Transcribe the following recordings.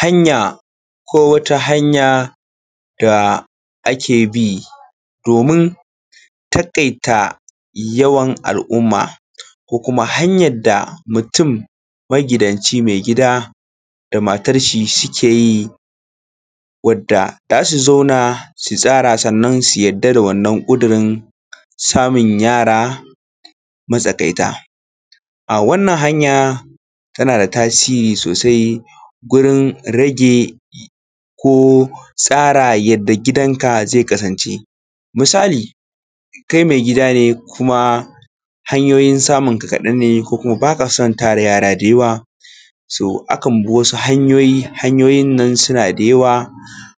Hanyan ko wata hanyar da ake bi domin taƙaita yawan al'umma ko kuma hanyar da mutum magidanci maigida da matar shi suke yi wanda za su zauna su yanke shawara sannan su yarda da wannan ƙuduri samun yara matsagaita. Wannan hanya yara tana da tasiri sosai wurin rage ko tsara yadda gidanka zai kasance. Misali kai maigida ne kuma hanyoyin samunka kaɗan ne ba ka son yara yara da yawa so akan bi wasu hanyoyi, hanyoyin nan suna da yawwa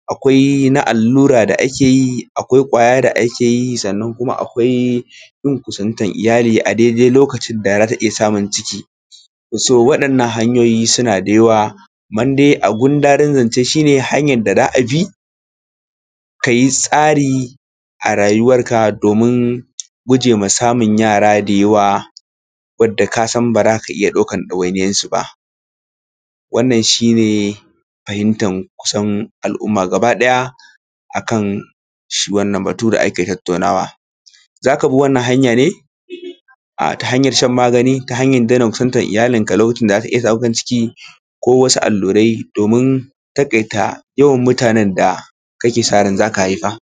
akwai na allura da ake yi akwai na ƙwaya da ake yi sannan akwai gun kusantar iyali a daidai lokacin da za ta iya samun ciki. So waɗannan hanyoyin suna da yawa a gundarin zance shi ne hanya da ake bi ka yi tsari a rayuwarka domin guje ma samun yara da yawa wanda kasan ba za ka iya ɗaukar ɗawainiyarsu ba. Wannan shi ne fahimtar kusan al'umma gaba ɗaya akan shi wannan batu da ake tattaunawa za ka bi wannan hanya ne ta hanyar shan magani ta hanyar daina kusantar iyalinka a lokacin da za ta iya ɗaukar ciki ko wasu allurai domin taƙaita yaran da kake son ka haifa